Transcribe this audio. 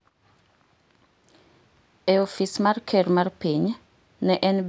e ofis mar ker mar piny, ne en bende jatend pinyno kod weche mag arita.